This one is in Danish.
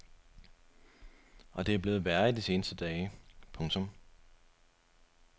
Og det er blevet værre i de seneste dage. punktum